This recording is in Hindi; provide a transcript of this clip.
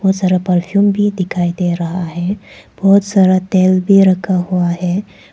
बहुत सारा परफ्यूम भी दिखाई दे रहा है बहुत सारा तेल भी रखा हुआ है।